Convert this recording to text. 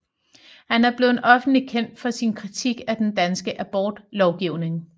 Han er blevet offentligt kendt for sin kritik af den danske abortlovgivning